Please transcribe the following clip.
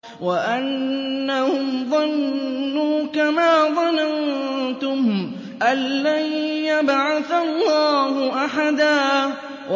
وَأَنَّهُمْ ظَنُّوا كَمَا ظَنَنتُمْ أَن لَّن يَبْعَثَ اللَّهُ أَحَدًا